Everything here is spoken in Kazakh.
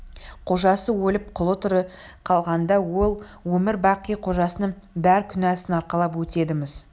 қожасы өліп құлы тірі қалғанда ол өмір-бақи қожасының бар күнәсін арқалап өтеді-міс